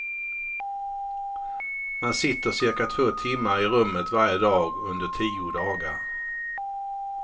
Man sitter cirka två timmar i rummet varje dag under tio dagar.